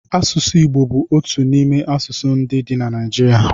Asụsụ Igbo bú otu n'ime asụsụ dị na Naijiria